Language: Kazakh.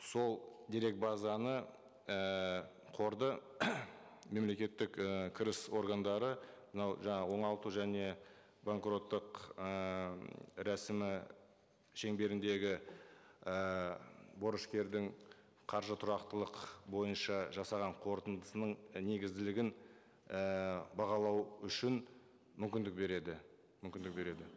сол дерек базаны ііі қорды мемлекеттік і кіріс органдары мынау жаңа оңалту және банкроттық ыыы рәсімі шеңберіндегі ііі борышкердің қаржы тұрақтылық бойынша жасаған қорытындысының негізділігін ііі бағалау үшін мүмкіндік береді мүмкіндік береді